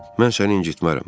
Mən səni incitmərəm.